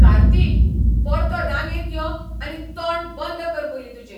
कार्तिक! परतो रांगेंत यो आनी तोंड बंद कर पयलीं तुजें.